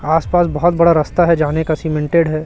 आस पास बहोत बड़ा रास्ता है जाने का सीमेंटेड है।